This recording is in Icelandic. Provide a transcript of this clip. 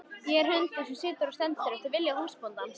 Ég er hundur sem situr og stendur eftir vilja húsbóndans.